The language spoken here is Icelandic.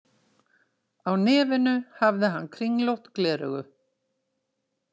Á nefinu hafði hann kringlótt gleraugu.